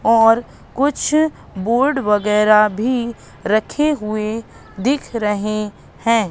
और कुछ बोर्ड वगैरह भी रखे हुए दिख रहे हैं।